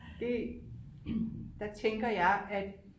det der tænker jeg at